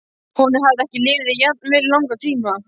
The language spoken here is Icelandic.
Honum hafði ekki liðið jafn vel í langan tíma.